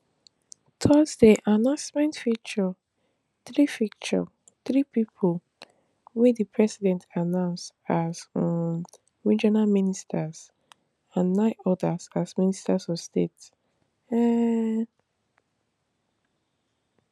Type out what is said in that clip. thursday announcement feature three feature three pipo wey di president appoint as um regional ministers and nine odas as ministers of state um